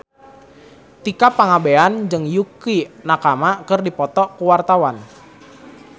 Tika Pangabean jeung Yukie Nakama keur dipoto ku wartawan